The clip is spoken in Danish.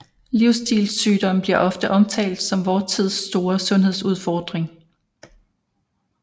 Livsstilssygdomme bliver ofte omtalt som vor tids store sundhedsudfording